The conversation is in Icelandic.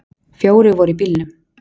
Fjórir voru í bílnum.